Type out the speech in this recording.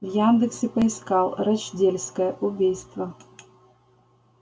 в яндексе поискал рочдельская убийство